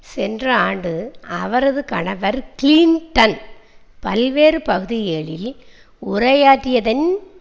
சென்ற ஆண்டு அவரது கணவர் கிளிண்டன் பல்வேறு பகுதிகளில் உரையாற்றியதன்